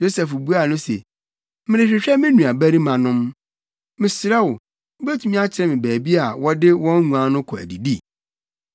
Yosef buaa no se, “Merehwehwɛ me nuabarimanom. Mesrɛ wo, wubetumi akyerɛ me baabi a wɔde wɔn nguan no kɔ adidi?”